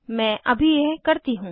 मैं अभी यह करती हूँ